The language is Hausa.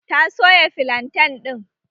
Ta soya filantan ɗin